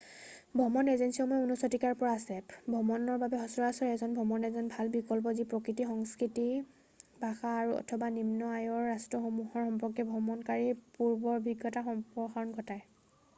ভ্ৰমণ এজেঞ্চীসমূহ 19 শতিকাৰ পৰা আছে ভ্ৰমণৰ বাবে সচৰাচৰ এজন ভ্ৰমণ এজেণ্ট ভাল বিকল্প যি প্ৰকৃতি সংস্কৃতি ভাষা অথবা নিম্ন আয়ৰ ৰাষ্ট্ৰসমূহৰ সম্পৰ্কে ভ্ৰমণকাৰীক পূৰ্বৰ অভিজ্ঞতাৰ সম্প্ৰসাৰণ ঘটায়